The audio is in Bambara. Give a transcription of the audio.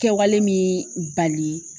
Kɛwale min bali